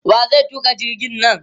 Wa zai tuƙa jirgin nan?